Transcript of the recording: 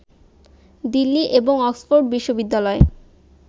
দিল্লী এবং অক্সফোর্ড বিশ্ববিদ্যালয়ে